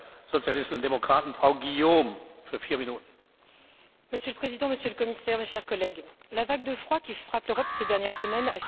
Monsieur le Président, Monsieur le Commissaire, mes chers collègues, la vague de froid qui frappe l'Europe ces dernières semaines a fait déjà plusieurs centaines de morts, pour la plupart des personnes sans abri.